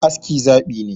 Aski zaɓi ne